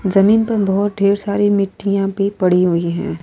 जमीन पर बहुत ढ़ेर सारी मिट्टियां भी पड़ी हुई है।